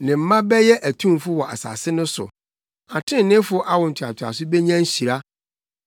Ne mma bɛyɛ atumfo wɔ asase no so; atreneefo awo ntoatoaso benya nhyira.